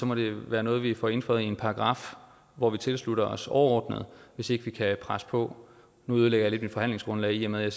må det være noget vi får indføjet i en paragraf hvor vi tilslutter os overordnet hvis ikke vi kan presse på nu ødelægger jeg lidt mit forhandlingsgrundlag i og med at